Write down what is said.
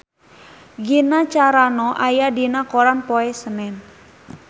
Gina Carano aya dina koran poe Senen